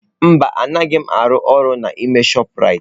Mba anaghị m arụ ọrụ n'ime chopụ Raitị